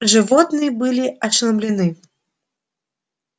животные были ошеломлены